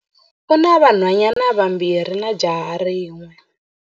U na vanhwanyana vambirhi na jaha rin'we.